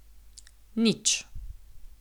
Nič.